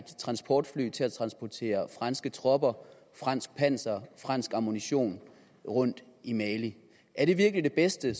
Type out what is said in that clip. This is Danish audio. transportfly til at transportere franske tropper fransk panser og fransk ammunition rundt i mali er det virkelig det bedste